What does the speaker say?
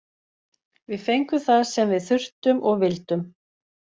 Við fengum það sem við þurftum og vildum.